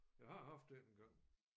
Jeg har haft en engang